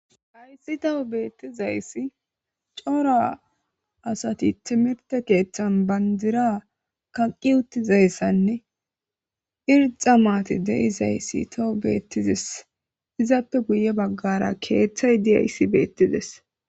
haysi toho beettizayssi cora asati timirte keeththan bandira kaqqi uttizayssanne irxa maati deizayssi toho beettizes izappe guye baggara keeththay diyayssi beettides